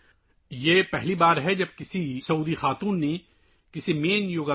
سعودی عرب میں پہلی بار ایک خاتون الحنوف سعد نے مشترکہ یوگا پروٹوکول کی قیادت کی